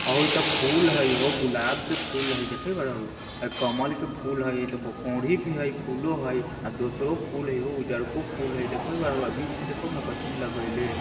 ओ इ ते फूल हय हो गुलाब के फूल हय देखे कमल के फूल हय इ ते कोरही भी हय फूलों हय दोसरों फूल हय हो उज्जरको फूल हय देखे बीच मे देखो ने हो कथी ने लगेएले हेय।